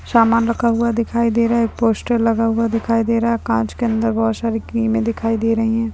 सामान रखा हुआ दिखाई दे रहा है। एक पोस्टर लगा हुआ दिखाई दे रहा है। एक कांच के अंदर बहोत सारी क्रीमे रखी हुई दिखाई दे रही है।